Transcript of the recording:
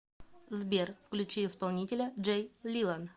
сбер включи исполнителя джей лилан